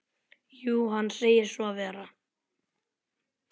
Jú, hann segir svo vera.